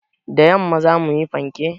Da yamma za mu yi fanke.